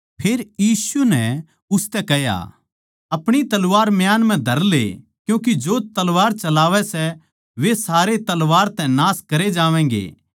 फेर यीशु नै उसतै कह्या अपणी तलवार म्यान म्ह धर ले क्यूँके जो तलवार चलावै सै वे सारे तलवार तै नाश करे जावैंगे